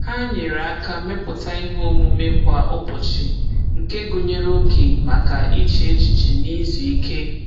Ha nyere aka mepụta ihe omume kwa ụbọchị nke gụnyere oge maka iche echiche na izu ike.